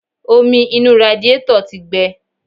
Omi inú radíetọ̀ tí gbe.